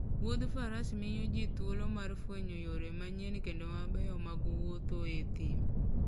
Wuoth faras miyo ji thuolo mar fwenyo yore manyien kendo mabeyo mag wuotho e thim